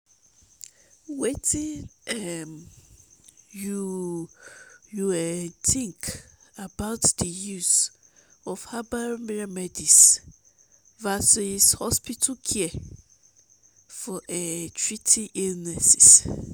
wetin um you um think about di use of herbal remedies versus hospital care for um treating illnesses?